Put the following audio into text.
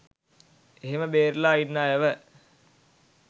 ඒහෙම බේරිලා ඉන්න අයව